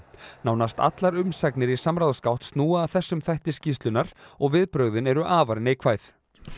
nánast allar umsagnir í samráðsgátt snúa að þessum þætti skýrslunnar og viðbrögðin eru afar neikvæð